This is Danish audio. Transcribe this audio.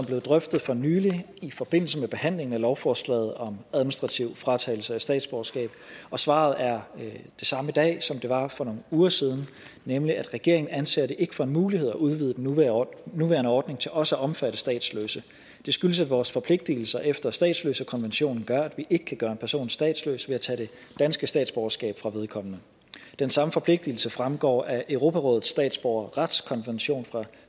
blevet drøftet for nylig i forbindelse med behandlingen af lovforslaget om administrativ fratagelse af statsborgerskab og svaret er det samme i dag som det var for nogle uger siden nemlig at regeringen ikke anser det for en mulighed at udvide den nuværende ordning til også at omfatte statsløse det skyldes at vores forpligtelser efter statsløsekonventionen gør at vi ikke kan gøre en person statsløs ved at tage det danske statsborgerskab fra vedkommende den samme forpligtelse fremgår af europarådets statsborgerretskonvention fra